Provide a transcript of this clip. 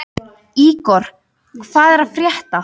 Ígor, hvað er að frétta?